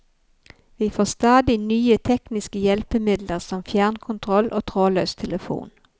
Vi får stadig nye tekniske hjelpemidler som fjernkontroll og trådløs telefon.